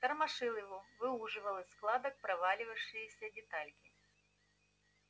тормошил его выуживал из складок провалившиеся детальки